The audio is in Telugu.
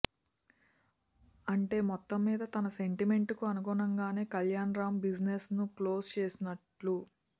అంటే మొత్తం మీద తన సెంటిమెంట్ కు అనుగుణంగానే కళ్యాణ్ రామ్ బిజినెస్ ను క్లోజ్ చేసినట్లు